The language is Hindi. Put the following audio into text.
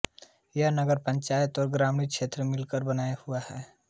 यह नगर पंचायत और ग्रामीण क्षेत्र मिलकर बना हुआ है